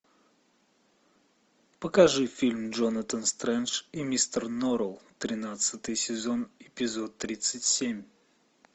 покажи фильм джонатан стрендж и мистер норрелл тринадцатый сезон эпизод тридцать семь